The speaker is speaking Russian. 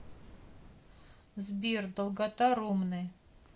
сбер долгота ромны